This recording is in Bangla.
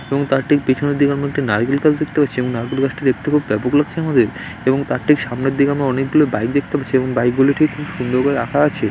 এবং তার ঠিক পিছনের দিকে আমরা একটা নারিকেল | এবং নারিকেল গাছটি দেখতে খুব ব্যাপক লাগছে আমাদের | এবং তার ঠিক সামনের দিকে আমাদের অনেকগুলো বাইক দেখতে পাচ্ছি | এবং বাইক গুলো ঠিক সুন্দর করে রাখা আছে।